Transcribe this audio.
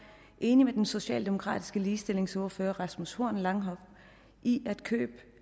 enig med den socialdemokratiske ligestillingsordfører rasmus horn langhoff i at køb